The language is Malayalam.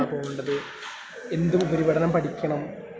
എങ്ങോട്ടാ പോവേണ്ട എന്നും എന്ത് ഉപരിപഠനം പഠിക്കണം...